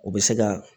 U bɛ se ka